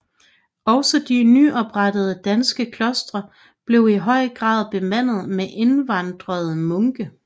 Også de nyoprettede danske klostre blev i høj grad bemandet med indvandrede munke